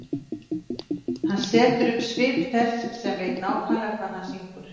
Hann setur upp svip þess sem veit nákvæmlega hvað hann syngur.